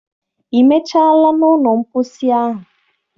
Ị mechaala na ụlọ mposi ahụ?